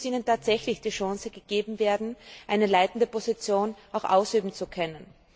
Es muss ihnen tatsächlich die Chance gegeben werden, eine leitende Position auch ausüben zu können.